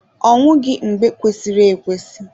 Ọ nwụghị n'oge kwesịrị ekwesị.